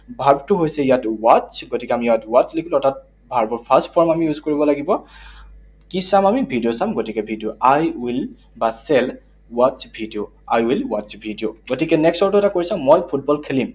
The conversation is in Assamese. Verb টো হৈছে ইয়াত watch, গতিকে আমি ইয়াত watch লিখিলো। অৰ্থাৎ verb ৰ first form আমি use কৰিব লাগিব। কি চাম আমি? ভিডিঅ চাম, গতিকে ভিডিঅ, I will বা shall watch video, I will watch video । গতিকে next আৰু এটা question, মই ফুটবল খেলিম।